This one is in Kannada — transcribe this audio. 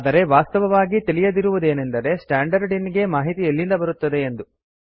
ಆದರೆ ವಾಸ್ತವವಾಗಿ ತಿಳಿದಿರುವುದಿಲ್ಲವೆನೆಂದರೆ ಸ್ಟ್ಯಾಂಡರ್ಡ್ ಇನ್ ಗೆ ಮಾಹಿತಿ ಎಲ್ಲಿಂದ ಬರುತ್ತಿದೆ ಎಂದು